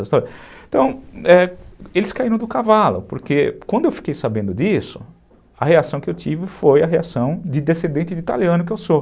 Então, eles caíram do cavalo, porque quando eu fiquei sabendo disso, a reação que eu tive foi a reação de descendente de italiano que eu sou.